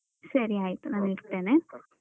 ಸರಿ ಆಯ್ತು ನಾನ್ ಇಡ್ತೇನೆ.